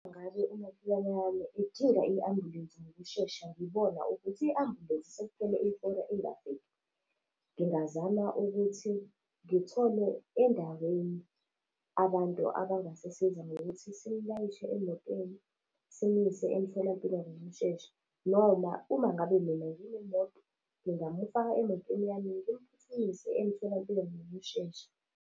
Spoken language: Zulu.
Ngabe umakhelwane wami edinga i-ambulensi ngokushesha, ngibona ukuthi i-ambulensi sekuphele ihora ingafiki. Ngingazama ukuthi ngithole endaweni abantu abangasisiza ngokuthi simulayishe emotweni, simuse emtholampilo ngokushesha. Noma uma ngabe mina nginemoto, ngingamufaka emotweni yami-ke simuse emtholampilo ngokushesha.